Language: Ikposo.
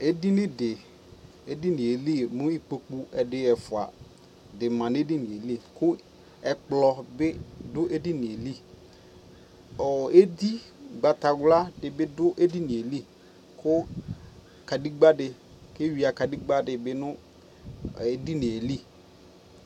Ɛdini di, ɛdini yɛ li mu ikpoku ɛdi, ɛfua di ma nɛ dini yɛ liKuɛkplɔ bi du ɛdini yɛ liƆɔ ɛdi ugbata wla bi du ɛdini yɛ liKu kadegba di ɛwia kadegba di bi nu ɛdini yɛ li